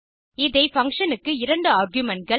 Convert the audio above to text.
இந்த பங்ஷன் க்கு இரண்டு argumentகள்